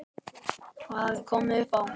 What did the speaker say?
Hvað hafði komið upp á?